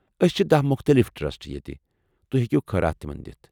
أسۍ چھ دَہ مختلف ٹرسٹ ییٚتہ تُہۍ ہیٚکو خٲرات تمن دِتھ۔